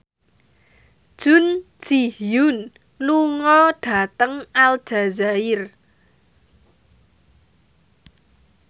Jun Ji Hyun lunga dhateng Aljazair